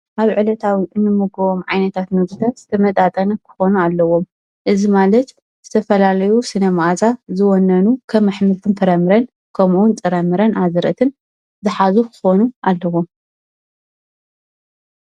ኣብ ዕለታዊ እንመጕዎም ዓይነታት ምግቢ ዝተመጣጠነ ክኾኑ ኣለዎም እዝ ማለት ዝተፈላልዩ ስነ መእዛ ዝወነኑ ከኅምልትን ፍረምረን ከምኡውን ጽረምረን ኣዝረትን ዝኃዙኅ ክኾኑ ኣለዎም፡፡